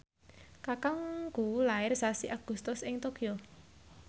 kakangku lair sasi Agustus ing Tokyo